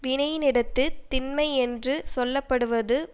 வினையினிடத்துத் திண்மை யென்று சொல்ல படுவது